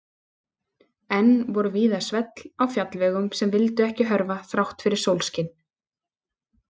Enn voru víða svell á fjallvegum sem vildu ekki hörfa þrátt fyrir sólskin.